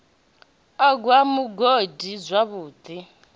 u gwa mugodi zwavhu ḓi